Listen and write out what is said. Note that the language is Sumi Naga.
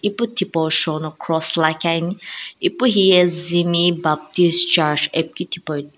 ipu tipau shou no cross lakhi ani ipu hiye zimi baptist charch .